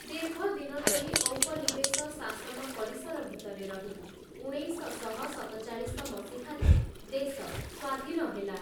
ଦୀର୍ଘଦିନଧରି ଔପନିବେଶ ଶାସନ ପରିସର ଭିତରେ ରହି ଉଣେଇଶଶହ ସତଚାଳିଶ ମସିହାରେ ଦେଶ ସ୍ଵାଧୀନ ହେଲା ।